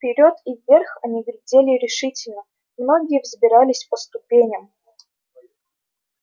вперёд и вверх они глядели решительно многие взбирались по ступеням